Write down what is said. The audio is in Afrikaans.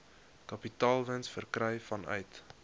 kapitaalwins verkry vanuit